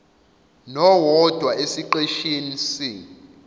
nowodwa esiqeshini c